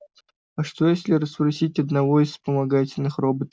а что если расспросить одного из вспомогательных роботов